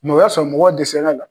o y'a sɔ mɔgɔw dɛsɛr'a la.